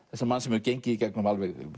manns sem hefur gengið í gegnum